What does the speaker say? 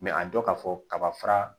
a dɔ ka fɔ kaba fara